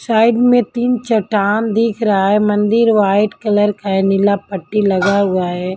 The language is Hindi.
साइड में तीन चट्टान दिख रहा है मंदिर वाइट कलर का है नीला पट्टी लगा हुआ है।